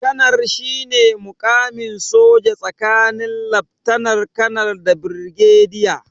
Kanar shine muƙamin soja tsakanin laftanar- kanar da birgediya.